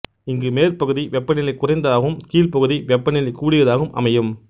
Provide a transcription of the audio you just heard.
இங்கு மேற்பகுதி வெப்பநிலை குறைந்ததாகவும் கீழ்ப்பகுதி வெப்பநிலை கூடியதாகவும் அமையும்